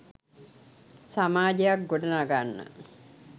සමාජයක් ගොඩ නගන්න